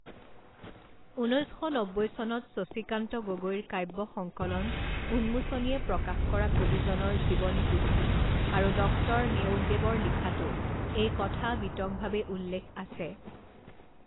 ঊনৈছ শ নব্বৈ চনত শশীকান্ত গগৈৰ কাব্য সংকলন উন্মোচনীয়ে প্ৰকাশ কৰা কবিজনৰ জীৱনী পুথি আৰু ডক্টৰ নেওগদেৱৰ লিখাতো এই কথা বিতংভাবে উল্লেখ আছে।